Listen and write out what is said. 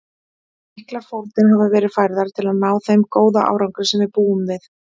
Miklar fórnir hafa verið færðar til að ná þeim góða árangri sem við búum við.